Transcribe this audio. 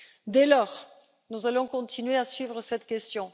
Dès lors, nous allons continuer à suivre cette question.